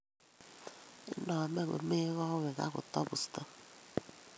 Inomee komee kowet ak kotabusto